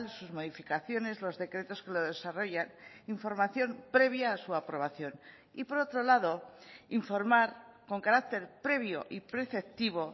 sus modificaciones los decretos que lo desarrollan información previa a su aprobación y por otro lado informar con carácter previo y preceptivo